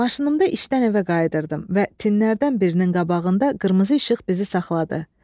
Maşınımda işdən evə qayıdırdım və tinlərdən birinin qabağında qırmızı işıq bizi saxladı.